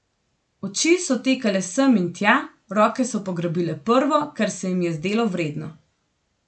Oči so tekale sem in tja, roke so pograbile prvo, kar se jim je zdelo vredno.